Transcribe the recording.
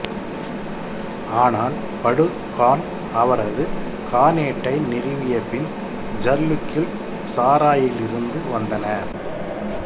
ஆனால் படு கான் அவரது கானேட்டை நிறுவியபின் ஜர்லிக்குகள் சாராயிலிருந்து வந்தன